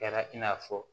Kɛra i n'a fɔ